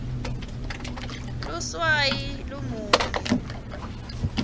luswayi lumunyu